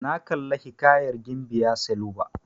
Na kalla hiƙayar gimbiya sailuba.